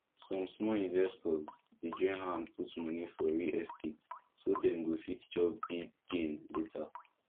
some small investors dey join hand put money for real estate so dem go fit chop big gain later